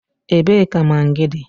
Ebee ka magịị dị?